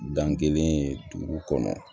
Dan kelen duuru kɔnɔ